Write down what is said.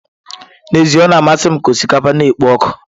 N'ezie o na-amasị m ka osikapa na-ekpo ọkụ.